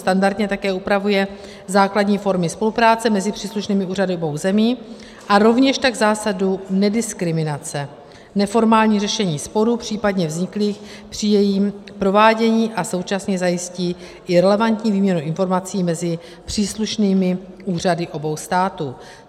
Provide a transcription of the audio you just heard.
Standardně také upravuje základní formy spolupráce mezi příslušnými úřady obou zemí a rovněž tak zásadu nediskriminace, neformální řešení sporů případně vzniklých při jejím provádění a současně zajistí i relevantní výměnu informací mezi příslušnými úřady obou států.